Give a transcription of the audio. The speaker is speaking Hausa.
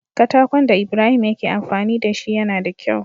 Katakon da ibrahim yake amfani dashi yAna da kyau